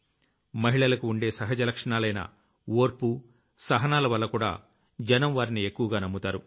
మహిళలకు ఉండే సహజలక్షణాలైన ఓర్పు సహనాలవల్లకూడా జనం వారిని ఎక్కువగా నమ్ముతారు